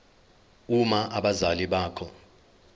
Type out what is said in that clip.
uma abazali bakho